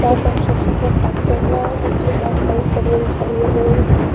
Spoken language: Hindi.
और कंस्ट्रक्शन का काम चल रहा है नीचे बहोत सारी सरिया भी बिछाई गई है लोहे की।